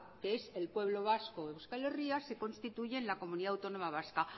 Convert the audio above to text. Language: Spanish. que es el pueblo vasco y euskal herria se constituyen la comunidad autónoma vasca